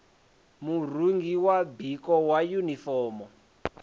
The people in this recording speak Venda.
murungi wa biko wa yunifomo